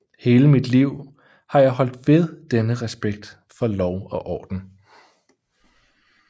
Hele mit liv har jeg holdt ved denne respekt for lov og orden